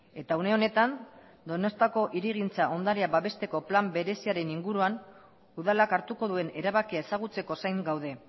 eta une honetan donostiako hirigintza ondarea babesteko plan bereziaren inguruan udalak hartuko duen erabakia ezagutzeko zain gaude